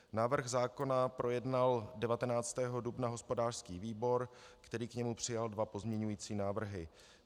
Návrh zákona projednal 19. dubna hospodářský výbor, který k němu přijal dva pozměňovací návrhy.